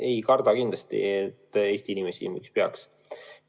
Ei karda kindlasti Eesti inimesi – miks peaks?